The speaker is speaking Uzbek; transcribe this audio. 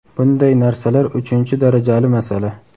Bunday narsalar uchinchi darajali masala.